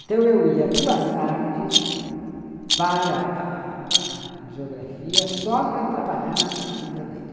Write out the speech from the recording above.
Então eu ia duas tardes para a a geografia só para trabalhar na pesquisa dele.